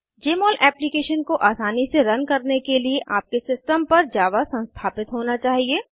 जमोल application को आसानी से रन करने के लिए आपके सिस्टम पर जावा संस्थापित होना चाहिए